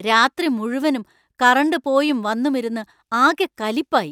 രാത്രി മുഴുവനും കറന്‍റ് പോയും വന്നുമിരുന്ന് ആകെ കലിപ്പായി.